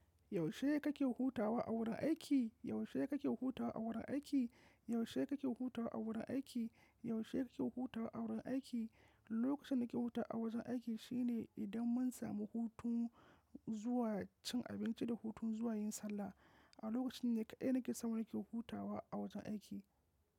Yaushe kake hutawa a wurin aiki? Yaushe kake hutawa a wurin aiki? Yaushe kake hutawa a wurin aiki? Yaushe kake hutawa a wurin aiki? Lokacin da nake huta a wajen aiki, shine idan mun samu hutun zuwa cin abinci, da hutun zuwa yin sallah. A lokacin ne kaɗai nake samu nake hutawa a wajen aiki.